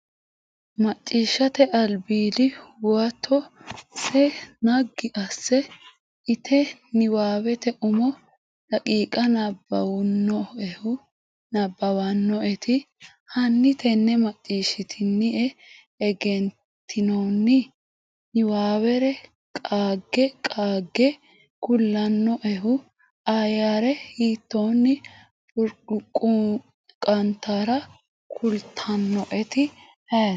Maciishshate Albiidi Huwato se naggi asse ite niwaawete umo daqiiqa nabbawannoehu nabbabbannoeti? Hanni tenne maccishshitine egenitinoonni? niwaawere qaage qaagge kulannoehu Ayyare hiitoonni burquuqantara kultannoeti ayeeti?